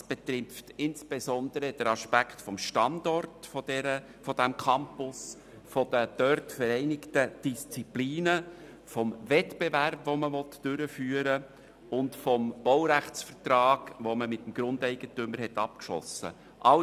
Das betrifft insbesondere die Aspekte des Standorts des Campus, der dort vereinigten Disziplinen, des Wettbewerbs, den man durchführen will, und des Baurechtsvertrags, den man mit dem Grundeigentümer abgeschlossen hat.